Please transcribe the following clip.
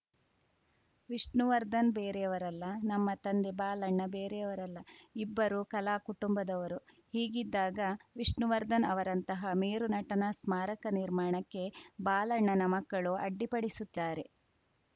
ವಿಷ್ಣುವರ್ಧನ್‌ ಬೇರೆಯವರಲ್ಲ ನಮ್ಮ ತಂದೆ ಬಾಲಣ್ಣ ಬೇರೆಯವರಲ್ಲ ಇಬ್ಬರೂ ಕಲಾ ಕುಟುಂಬದವರು ಹೀಗಿದ್ದಾಗ ವಿಷ್ಣುವರ್ಧನ್‌ ಅವರಂತಹ ಮೇರು ನಟನ ಸ್ಮಾರಕ ನಿರ್ಮಾಣಕ್ಕೆ ಬಾಲಣ್ಣನ ಮಕ್ಕಳು ಅಡ್ಡಿಪಡಿಸುತ್ತಾರೆ